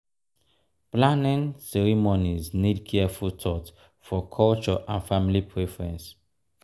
planning ceremonies need careful thought for culture and family preference.